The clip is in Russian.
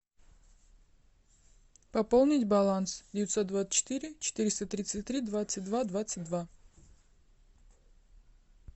пополнить баланс девятьсот двадцать четыре четыреста тридцать три двадцать два двадцать два